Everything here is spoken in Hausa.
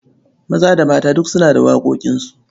Maza da mata duk suna da waƙoƙinsu.